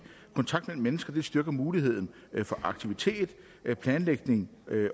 kontakt mellem mennesker styrker muligheden for aktivitet planlægning